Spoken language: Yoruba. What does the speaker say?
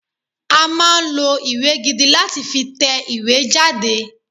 A máa lo ìwé gidi lá ti fi tẹ ìwé jáde